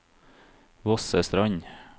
Vossestrand